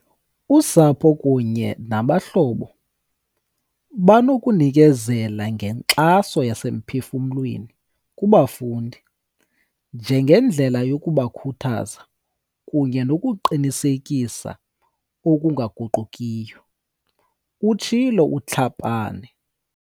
Usapho kunye nabahlobo banokunikezela ngenkxaso yasemphefuml weni kubafundi, ngendlela yokubakhuthaza kunye nokuqinisekisa okunga guqukiyo, utshilo uTlhapane.